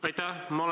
Aitäh!